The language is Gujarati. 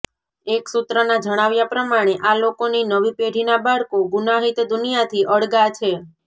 એક સૂત્રના જણાવ્યા પ્રમાણે આ લોકોની નવી પેઢીના બાળકો ગુનાહિત દુનિયાથી અળગા છે